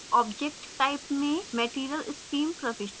object type में material stream प्रविष्ट करें